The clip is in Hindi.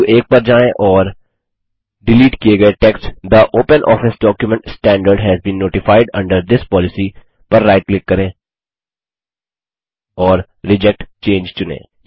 बिंदु 1 पर जाएँ और डिलीट किये गये टेक्स्ट थे OpenOffice document standard has been notified under this policy पर राइट क्लिक करें और रिजेक्ट चंगे चुनें